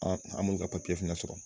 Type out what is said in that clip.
An an ma olu ka papiye fana sɔrɔ.